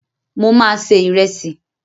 Mo ma se Ìrẹ́sì.